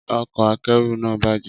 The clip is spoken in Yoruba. Ọkọ̀ akẹ́rù náà bàjẹ́.